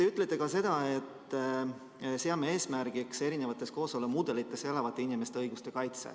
Te ütlete ka seda, et te seate eesmärgiks erinevates kooselumudelites elavate inimeste õiguste kaitse.